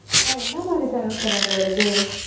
என்னா மாதிரி channel sir அதுல வருது?